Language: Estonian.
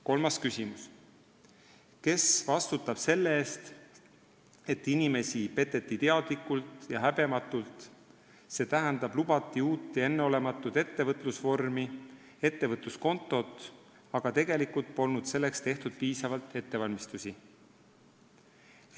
Kolmas küsimus: "Kes vastutab selle eest, et inimesi peteti teadlikult ja häbematult, st lubati uut ja enneolematut ettevõtlusvormi, ettevõtluskontot, aga tegelikult polnud selleks tehtud piisavalt ettevalmistusi?